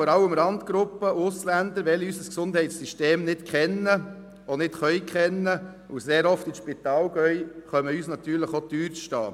Vor allem Randgruppen und Ausländer, die unser Gesundheitssystem nicht kennen und auch nicht kennen können und sehr oft ins Spital gehen, kommen uns teuer zu stehen.